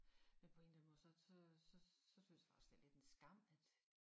Men på en eller anden måde så så så synes jeg også det er lidt en skam at øh